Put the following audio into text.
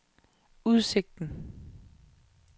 udsigten